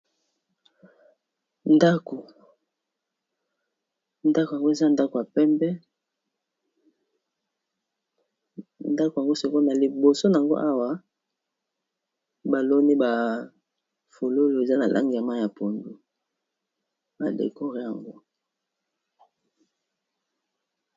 Ndako ndako ango eza ndako ya pembe, ndako yango siko na liboso nango awa baloni bafololo eza na lange yamayi ya pondu badekore yango.